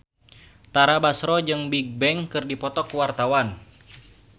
Tara Basro jeung Bigbang keur dipoto ku wartawan